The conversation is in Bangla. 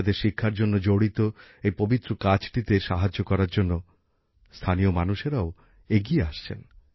বাচ্চাদের শিক্ষার সঙ্গে জড়িত এই পবিত্র কাজটিতে সাহায্য করার জন্য স্থানীয় মানুষেরাও এগিয়ে আসছেন